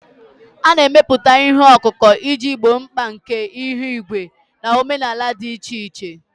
A na-emepụta ihe ọkụkụ iji gboo mkpa nke ihu igwe na omenala dị iche iche.